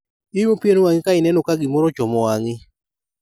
Iumo pien wang'i ka ineno ka gimoro ochomo wang'i.